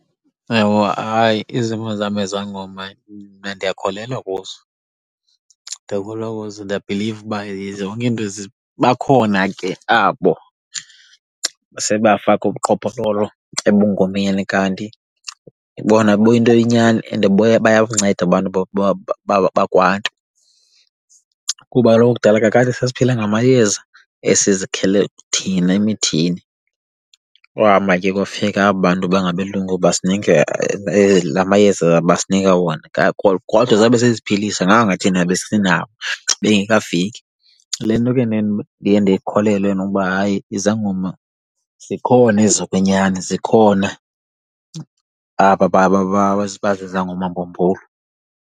Ewe hayi, izimvo zam ngezangoma mna ndiyakholelwa kuzo, ndiyakholelwa kuzo ndiyabhiliva uba zonke izinto . Bakhona ke abo sebafaka ubuqhophololo ebungomeni kanti bona buyinto yenyani and bayakunceda abantu bakwaNtu kuba kaloku kudala kakade sasiphila ngamayeza esizikhele thina emithini, kwahamba ke kwafika aba bantu bangabelungu basinika la mayeza abasinika wona. Kodwa sabe siziphilisa nganga thina besinawo bengekafiki. Le nto ke ndiye ndiye ndikholelwe mna uba hayi izangoma zikhona ezokwenyani, zikhona aba bazizangoma mbumbulu.